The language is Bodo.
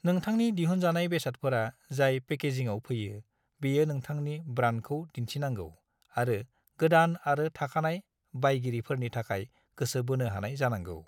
नोंथांनि दिहुनजानाय बेसादफोरा जाय पेकेजिंआव फैयो बेयो नोंथांनि ब्रान्डखौ दिन्थिनांगौ आरो गोदान आरो थाखानाय बायगिरिफोरनि थाखाय गोसो बोनो हानाय जानांगौ।